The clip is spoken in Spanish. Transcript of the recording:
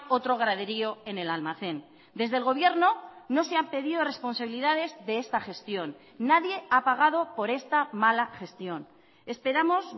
otro graderío en el almacén desde el gobierno no se han pedido responsabilidades de esta gestión nadie ha pagado por esta mala gestión esperamos